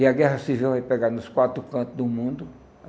E a guerra civil vai pegar nos quatro cantos do mundo.